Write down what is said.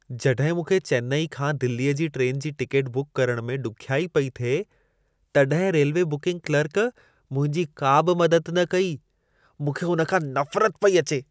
जॾहिं मूंखे चेन्नई खां दिल्लेअ जी ट्रैन जी टिकेट बुक करण में ॾुख्याई पई थिए, तॾहिं रेल्वे बुकिंग क्लर्क मुंहिंजी का बि मदद न कई। मूंखे हुन खां नफ़रत पई अचे।